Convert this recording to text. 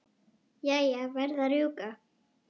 Jæja, verð að rjúka.